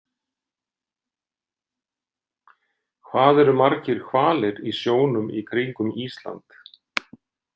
Hvað eru margir hvalir í sjónum í kringum Ísland?